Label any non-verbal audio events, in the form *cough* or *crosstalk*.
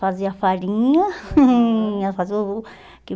Fazia farinha. *laughs* *unintelligible*